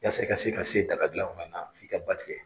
Yase i ka se ka se daga dilan fanana f'i ka ba tigɛ.